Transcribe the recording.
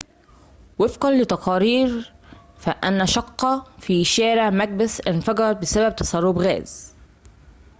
ووفقًا لتقارير فإنّ شقّة في شارع مكبيث انفجرت بسبب تسرّب غاز